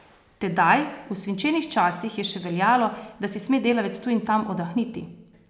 Tedaj, v svinčenih časih, je še veljalo, da si sme delavec tu in tam oddahniti.